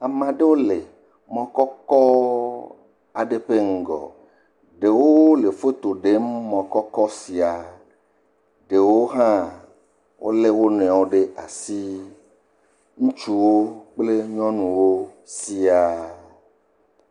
Ameɖewo le mɔ kɔkɔ aɖe ƒe ŋgɔ, ɖewo le foto ɖem mɔ kɔkɔ sia, ɖewo hã wolé wo nɔewo ɖe asi, ŋutsuwo kple nyɔnuwo siaa.